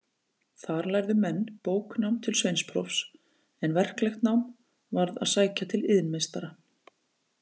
Þar lærðu menn bóknám til sveinsprófs, en verklegt nám varð að sækja til iðnmeistara.